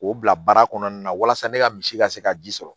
K'o bila baara kɔnɔna na walasa ne ka misi ka se ka ji sɔrɔ